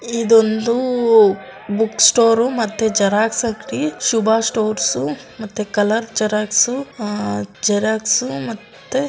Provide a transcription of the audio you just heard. ಇದು ಒಂದು book store ಮತ್ತೆ ಜರಾಗ್ಸ್ ಅಂಗಡಿ. ಶುಭ ಸ್ಟಾರ್ಸ್ ಮತ್ತೆ ಕಲರ್ ಜೆರಾಕ್ಸು ಅಹ್ ಜೆರಾಕ್ಸು ಮತ್ತೆ--